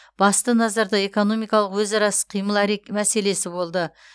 басты назарда экономикалық өзара іс қимыл мәселесі болды